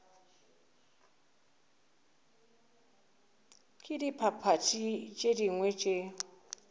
ke diphathi tše dingwe tše